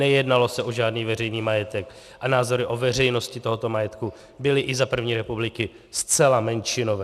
Nejednalo se o žádný veřejný majetek a názory o veřejnosti tohoto majetku byly i za první republiky zcela menšinové.